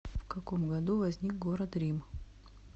в каком году возник город рим